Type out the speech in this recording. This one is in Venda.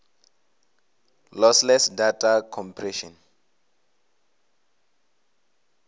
lossless data compression